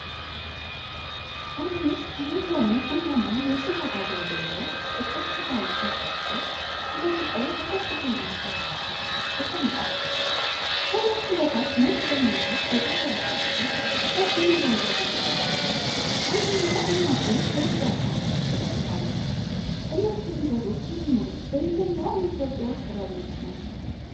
አምስት የሚሆኑ ቡናማ የጭላዳ ዝንጀሮዎች ጥቅጥቅ ባለ ፀጉራቸው ተደብቀው በከፍተኛ ተራራ ጫፍ ላይ ተቀምጠዋል። ከእነርሱ በታች ነጭ ደመናዎች የተንጠለጠሉበት ሰፊ አረንጓዴ ገደል አለ፤ አንደኛው እናቱ ከልጇ ጋር ተጠጋግታለች። እነዚህ ዝንጀሮዎች የሚኖሩት በየትኞቹ የኢትዮጵያ አካባቢዎች ነው?